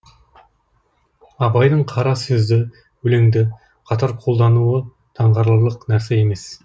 абайдың қара сөзді өлеңді қатар қолдануы таңғаларлық нәрсе емес